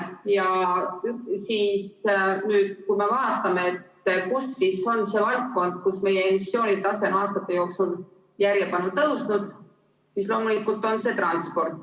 Ja kui me vaatame, mis on see valdkond, kus meie emissioonitase on aastate jooksul järjepanu tõusnud, siis loomulikult on see transport.